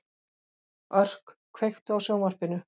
Örk, kveiktu á sjónvarpinu.